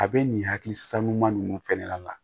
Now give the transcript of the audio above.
A bɛ nin hakili san ɲuman ninnu fana na